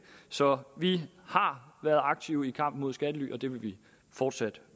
så vi har været aktive i kampen mod skattely og det vil vi fortsat